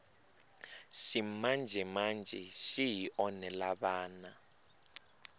ximanjemanje xi hi onhela vana